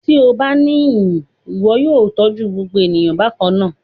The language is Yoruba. Ti o ba ni iyi, iwọ yóò tọju gbogbo eniyan bakanna